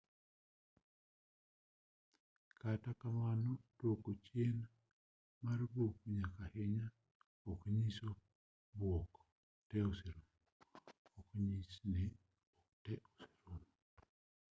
kata kamano duoko chien mar buok nyaka ahinya ok onyiso ni buok te oserumo